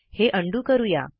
हे उंडो करू या